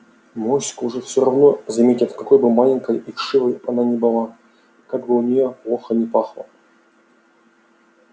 моську же всё равно заметят какой бы маленькой и вшивой она ни была и как бы от неё плохо ни пахло